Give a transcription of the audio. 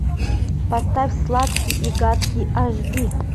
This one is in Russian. поставь сладкий и гадкий аш ди